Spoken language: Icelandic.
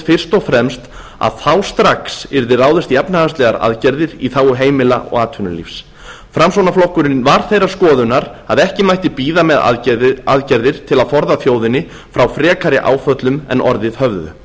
og fremst að þá strax yrði ráðist í efnahagslegar aðgerðir í þágu heimila og atvinnulífs framsóknarflokkurinn var þeirrar skoðunar að ekki mætti bíða með aðgerðir til að forða þjóðinni frá frekari áföllum en orðið